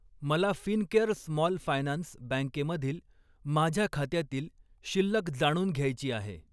मला Fincare small finance बँकेमधील माझ्या खात्यातील शिल्लक जाणून घ्यायची आहे.